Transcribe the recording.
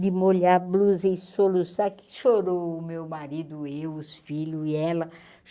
de molhar a blusa e soluçar, que chorou o meu marido, eu, os filhos e ela.